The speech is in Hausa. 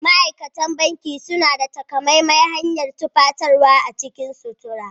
Ma'aikatan banki suna da takamaiman hanyar tufatarwa a cikin sutura.